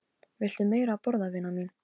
Viltu meira að borða, vina mín